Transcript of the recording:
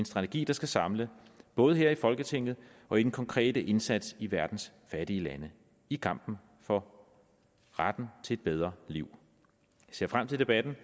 strategi der skal samle både her i folketinget og i den konkrete indsats i verdens fattige lande i kampen for retten til et bedre liv jeg ser frem til debatten